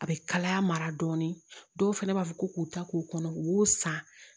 A bɛ kalaya mara dɔɔnin dɔw fana b'a fɔ ko k'u ta k'u kɔnɔ u y'u san